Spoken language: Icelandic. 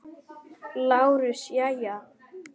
LÁRUS: Jæja.